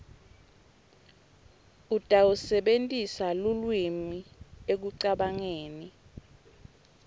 utawusebentisa lulwimi ekucabangeni